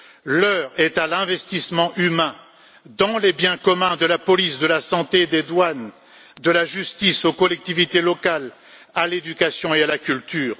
L'heure est à l'investissement humain dans les biens communs de la police, de la santé, des douanes, de la justice, les collectivités locales, l'éducation et la culture.